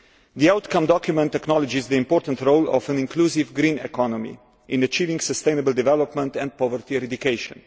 The outcome document acknowledges the important role of an inclusive green economy in achieving sustainable development and poverty eradication.